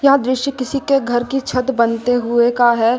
यह दृश्य किसी के घर की छत बनते हुए का है।